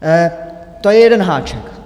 To je jeden háček.